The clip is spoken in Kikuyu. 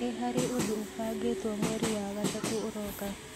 nĩ harĩ ũndũ ũbangĩtwo mweri wa gatatũ ũroka